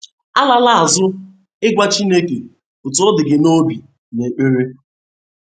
Alala azụ ịgwa Chineke otú ọ dị gị n’obi n’ekpere!